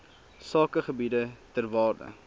sakegebiede ter waarde